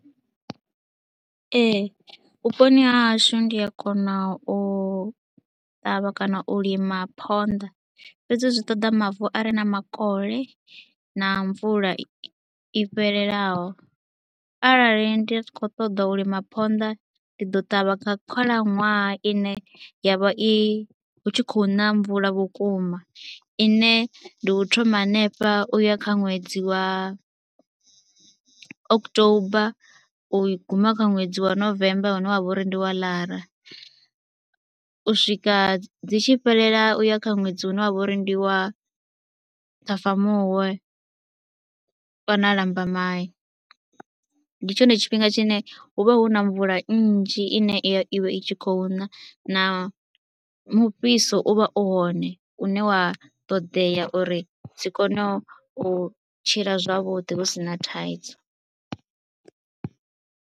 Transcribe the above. Ee vhuponi ha hashu ndi a kona u ṱavha kana u lima phonḓa fhedzi zwi ṱoḓa mavu a re na makole na mvula i fhelelaho. Arali ndi si khou ṱoḓa u lima phonḓa ndi ḓo ṱavha nga khalaṅwaha ine ya vha i, hu tshi khou ṋa mvula vhukuma ine ndi u thoma hanefha u ya kha ṅwedzi wa u October u guma kha ṅwedzi wa November une wa vha uri ndi wa Ḽara, u swika dzi tshi fhelela u ya kha ṅwedzi une wa vha uri ndi wa Ṱhafamuhwe kana Lambamai. Ndi tshone tshifhinga tshine hu vha hu na mvula nnzhi ine ya i vha i tshi khou na na mufhiso u vha u hone une wa ṱodea uri dzi kone u tshila zwavhuḓi hu si na thaidzo.